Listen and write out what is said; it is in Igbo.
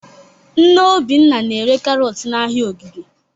Nne Obinna na-ere karọt n'ahịa Ogige.